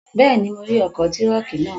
Bẹ́ẹ̀ni, mo rí ọkọ̀ tírọ̀kì naa